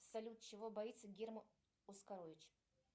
салют чего боится герман оскарович